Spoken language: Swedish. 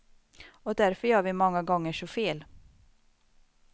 Och därför gör vi många gånger så fel.